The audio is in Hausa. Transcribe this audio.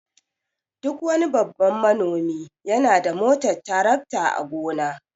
Duk wani babban manomi yana da motar tarakta a gona.